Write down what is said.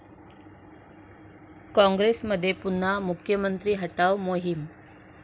काँग्रेसमध्ये पुन्हा 'मुख्यमंत्री हटाव' मोहीम?